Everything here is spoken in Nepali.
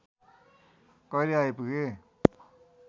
कहिले आइपुगे